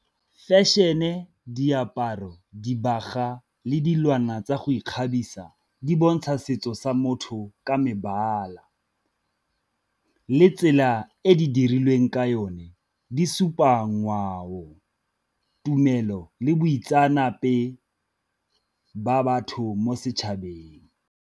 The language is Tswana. Fashion-e, diaparo, dibaga le dilwana tsa go ikgabisa di bontsha setso sa motho ka mebala, le tsela e di dirilweng ka yone di supa ngwao, tumelo le boitseanape ba batho mo setšhabeng.